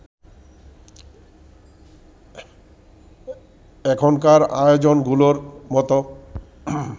এখনকার আয়োজনগুলোর মত